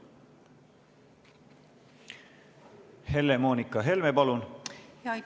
Helle-Moonika Helme, palun!